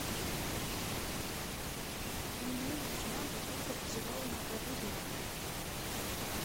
мне нужна бутылка газированной воды в номер